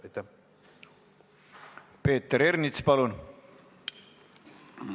Peeter Ernits, palun!